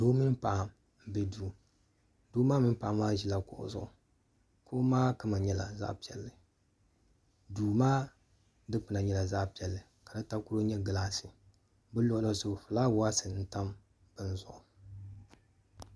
doo mini paɣa n bɛ duu ŋɔ ni doo maa mini paɣa maa ʒila kuɣu zuɣu doo maa kama nyɛla zaɣ piɛlli duu maa dikpuna nyɛla zaɣ piɛlli ka di takoro nyɛ gilaas bi luɣuli zuɣu fulaawaasi n tam bini zuɣu